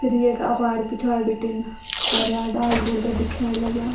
फिर येक अग्वाड़ी पिछवाड़ी बिटिन हर्या डाला ब्रुद्या दिख्येण लग्याँ।